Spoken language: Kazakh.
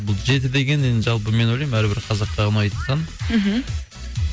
бұл жеті деген енді жалпы мен ойлаймын әрбір қазаққа ұнайтын сан мхм